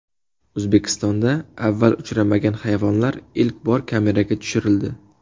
O‘zbekistonda avval uchramagan hayvonlar ilk bor kameraga tushirildi .